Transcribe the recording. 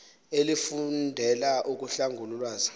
elifundela ukuhlangula ulwazi